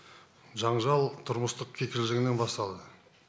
жанжал тұрмыстық кикілжіңнен басталды